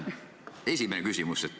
Esimene küsimus.